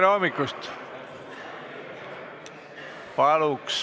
Tere hommikust!